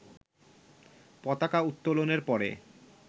পতাকা উত্তোলনের পরে